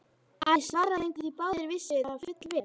Ari svaraði engu því báðir vissu það fullvel.